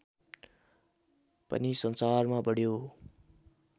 पनि संसारमा बढ्यो